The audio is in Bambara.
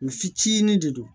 U fitinin de don